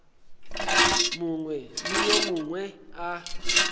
mongwe le yo mongwe a